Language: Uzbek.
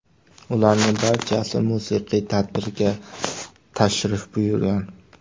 Ularning barchasi musiqiy tadbirga tashrif buyurgan.